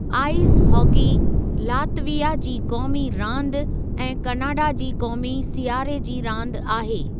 Ice hockey Latvia जी क़ौमी रांदि ऐं कनाडा जी क़ौमी सियारे जी रांदि आहे।